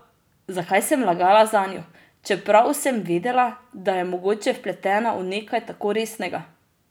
Zakaj sem lagala zanjo, čeprav sem vedela, da je mogoče vpletena v nekaj tako resnega?